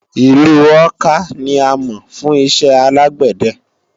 Ìlu Awka ni a mọ̀ fún iṣẹ́ alágbẹ̀dẹ